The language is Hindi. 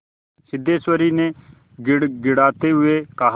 सिद्धेश्वरी ने गिड़गिड़ाते हुए कहा